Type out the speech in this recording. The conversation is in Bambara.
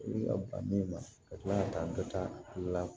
I bɛ ka ban min ma ka tila ka taa dɔ ta la